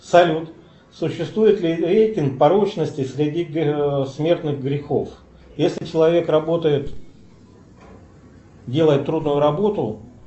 салют существует ли рейтинг порочности среди смертных грехов если человек работает делает трудную работу